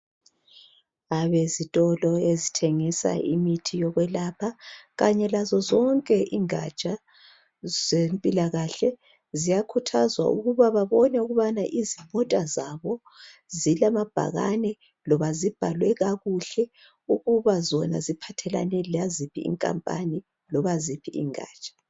Abezitolo ezithengisa imithi yokwelapha. Kanye lazo zonke ingaja zempilakahle, ziyakhuthazwa ukuba babone ukubana izimota zabo, zilamabhakane, loba zibhalwe kakuhle. Ukuba zona ziphathelane, laziphi nkampani, loba ziphi ingaja.